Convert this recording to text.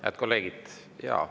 Head kolleegid!